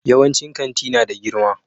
Yawancin kanti na da girma